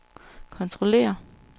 kontrollere